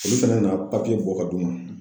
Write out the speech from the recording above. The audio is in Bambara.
Olu fɛnɛ nana papiye bɔ ka d'u ma.